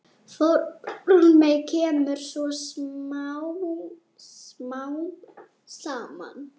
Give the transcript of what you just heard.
Formið kemur svo smám saman.